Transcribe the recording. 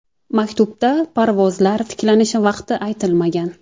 Maktubda parvozlar tiklanishi vaqti aytilmagan.